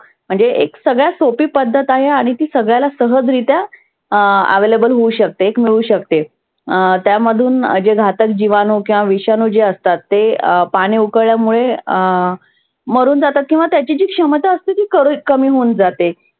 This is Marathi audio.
अं available होऊ शकते मिळू शकते. अं त्यामधून जे घातक जिवाणू किंवा विषानू जे असतात ते पाणि उकळल्यामुळे अं मरुन जातात किंवा त्याची जी क्षमता असते ती कुर कमी होऊन जाते.